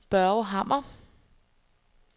Børge Hammer